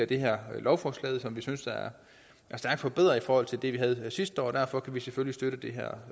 det her lovforslag som vi synes er stærkt forbedret i forhold til det vi havde sidste år derfor kan vi selvfølgelig støtte det her